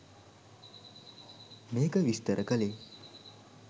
මේක විස්තර කළේ